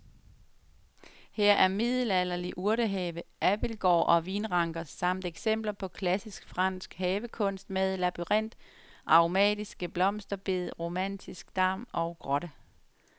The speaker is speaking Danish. Her er middelalderlig urtehave, abildgård og vinranker samt eksempler på klassisk fransk havekunst med labyrint, aromatiske blomsterbede, romantisk dam og grotte.